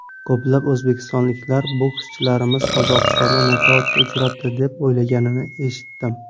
Ko‘plab o‘zbekistonliklar bokschilarimiz Qozog‘istonda nokautga uchrabdi deb o‘ylaganini eshitdim.